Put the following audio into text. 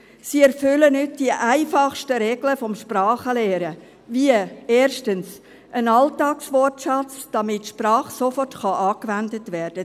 Sie erfüllen nicht die einfachsten Regeln des Sprachenlernens, wie, erstens, einen Alltagswortschatz, damit die Sprache sofort angewendet werden.